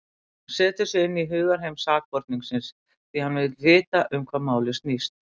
Hann setur sig inn í hugarheim sakborningsins, því hann vill vita um hvað málið snýst.